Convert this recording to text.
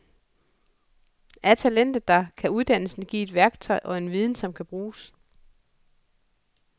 Er talentet der, kan uddannelsen give et værktøj og en viden, som kan bruges.